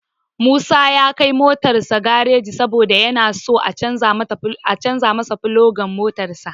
Musa ya kai motarsa gareji saboda yana so a canja filogan motarsa.